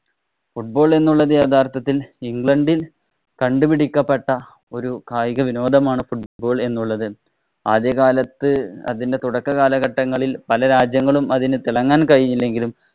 Football എന്നുള്ളത് യഥാര്‍ത്ഥത്തില്‍ ഇംഗ്ലണ്ടില്‍ കണ്ടുപിടിക്കപ്പെട്ട ഒരു കായിക വിനോദമാണ് football എന്നുള്ളത്. ആദ്യകാലത്ത് അതിന്‍റെ തുടക്കകാലഘട്ടങ്ങളില്‍ പല രാജ്യങ്ങളും അതിനു തിളങ്ങാന്‍ കഴിഞ്ഞില്ലെങ്കിലും